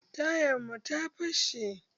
Tayan mun ta fashe